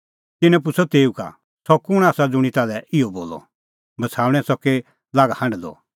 तिन्नैं पुछ़अ तेऊ का सह कुंण आसा ज़ुंणी ताल्है इहअ बोलअ बछ़ाऊणैं च़की लाग हांढदअ